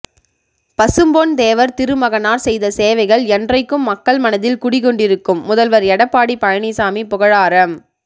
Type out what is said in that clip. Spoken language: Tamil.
பசும்பொன் தேவர் திருமகனார் செய்த சேவைகள் என்றைக்கும் மக்கள் மனதில் குடிகொண்டிருக்கும் முதல்வர் எடப்பாடி பழனிசாமி புகழாரம்